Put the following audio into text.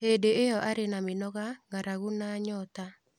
Hĩndĩ ĩyo arĩ na mĩnoga, ng'aragu na nyoota.